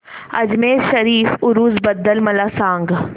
अजमेर शरीफ उरूस बद्दल मला सांग